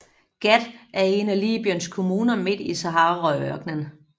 Ghat er en af Libyens kommuner midt i Saharaørknen